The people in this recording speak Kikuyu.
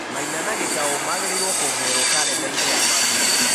maina na gĩtau magĩrĩirwo kwongererwo karenda-inĩ ya mambura